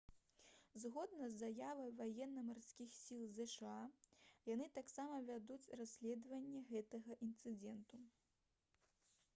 згодна з заявай ваенна-марскіх сіл зша яны таксама вядуць расследаванне гэтага інцыдэнту